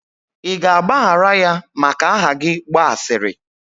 ị ga-agbaghara ya maka aha gị gba asịrị?